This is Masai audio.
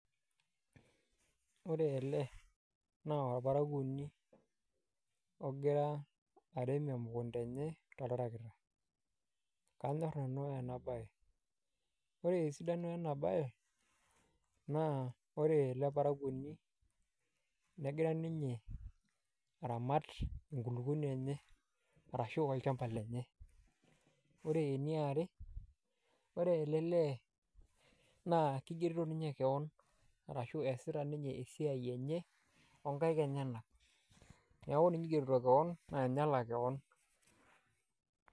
Ore ele naa orparakuoni ogira arem emukunda enye toltarakita, kanyor nanu ena baye. Ore esidano ena baye naa ore ele parakuoni negira ninye aramat enkulukoni enye arashu olchamba lenye. Ore eniare ore ele lee naa kigerito ninye keon arashu easita ninye esiai enye oo nkaek enyenak , neeku ninye oigerito keon naa ninye olak keon.